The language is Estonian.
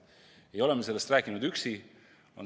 Ja ei ole me sellest rääkinud üksi.